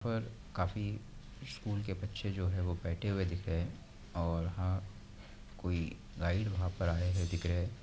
यहाँ पर काफी स्कूल के बच्चे जो है वो बैठे हुए दिख रहे है और हां कोई गाईड वहाँ पे आये हुए दिख रहे है।